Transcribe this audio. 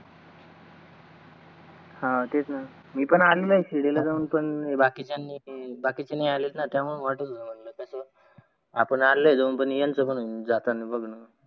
हा तेच न मी पण आलोय जाऊन शिर्डी ल जाऊन पण बाकीचे आले नाही आलेत न त्यामुड आपण आलोय जाऊन पण यंच म्हणून